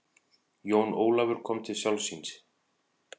Jón Ólafur kom til sjálfs sín.